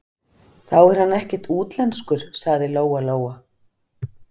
Þá er hann ekkert útlenskur, sagði Lóa-Lóa.